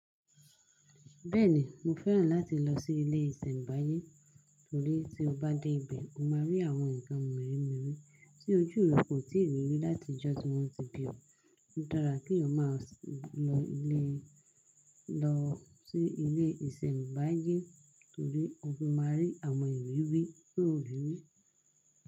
Bẹ́ẹ̀ni, mo fẹ́ràn láti lọ sí ilé ìsẹ̀mbáyé torí tí o bá dé ibẹ̀, o máa rí àwọn nǹkan mírìn mírìn tí ojú rẹ kò tíì rí rí láti ìjọ́ tí wọn ti bí o. Ó dára kí o máa lọ ilé, lọ sí ilé ìsẹ̀mbáyé torí ọ́ fi máa rí àwọn ìrirí tó ri rí.